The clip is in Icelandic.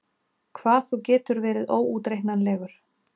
Hvað þú getur verið óútreiknanlegur!